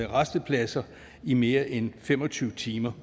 rastepladser i mere end fem og tyve timer